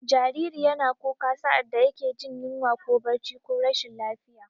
Jariri yana kuka sa'ad da yake jin yunwa ko barci ko rashin lafiya.